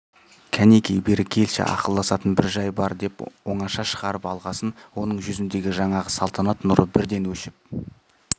кәнекей бері келші ақылдасатын бір жай бар деп оңаша шығарып алғасын оның жүзіндегі жаңағы салтанат нұры бірден өшіп